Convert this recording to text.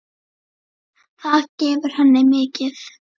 Það gefur henni mikið.